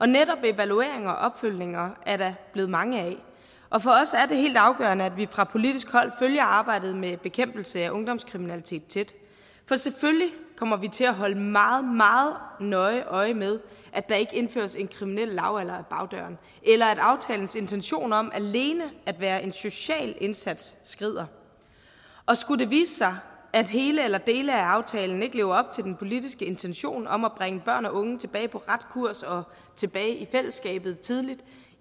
netop evalueringer og opfølgninger er der blevet mange af og for os er det helt afgørende at vi fra politisk hold følger arbejdet med bekæmpelse af ungdomskriminalitet tæt for selvfølgelig kommer vi til at holde meget meget nøje øje med at der ikke indføres en kriminel lavalder ad bagdøren eller at aftalens intention om alene at være en social indsats skrider skulle det vise sig at hele eller dele af aftalen ikke lever op til den politiske intention om at bringe børn og unge tilbage på ret kurs og tilbage i fællesskabet tidligt